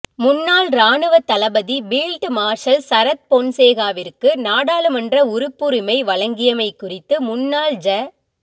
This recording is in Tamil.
முன்னாள் இராணுவத் தளபதி பீல்ட் மார்ஷல் சரத் பொன்சேகாவிற்கு நாடாளுமன்ற உறுப்புரிமை வழங்கியமை குறித்து முன்னாள் ஜ